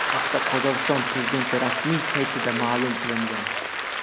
Bu haqda Qozog‘iston prezidenti rasmiy saytida ma’lum qilingan .